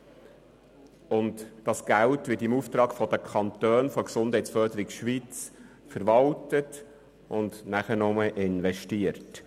Dieses Geld wird im Auftrag der Kantone von Gesundheitsförderung Schweiz verwaltet und danach investiert.